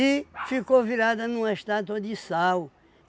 E ficou virada numa estátua de sal.